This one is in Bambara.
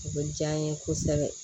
O bɛ diya n ye kosɛbɛ